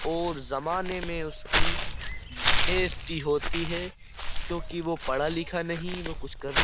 और जमाने में उसकी बेजती होती है क्योंकि वो पढ़ा लिखा नहीं वो कुछ करने --